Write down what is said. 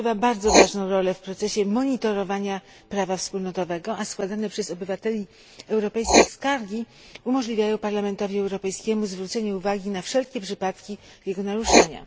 Dziękuję Panie Przewodniczący! Komisja Petycji odgrywa bardzo ważną rolę w procesie monitorowania prawa wspólnotowego, a składane przez obywateli europejskich skargi umożliwiają Parlamentowi Europejskiemu zwrócenie uwagi na wszelkie przypadki jego naruszania.